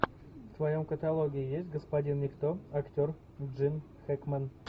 в твоем каталоге есть господин никто актер джим хэкмен